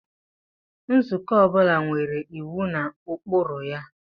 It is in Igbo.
Nzukọ ọ bụla nwere iwu na ụkpụrụ ya.